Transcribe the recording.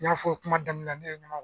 N y'a fɔ kuma daminɛ na ne ye